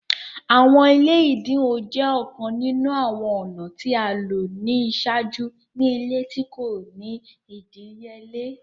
Awọn ile ẹdinwo jẹ ọkan ninu awọn ọna ti a lo ni iṣaaju ni ile ti ko ni idiyele.